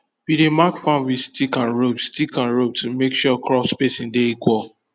we dey mark farm with stick and rope stick and rope to make sure crop spacing de equal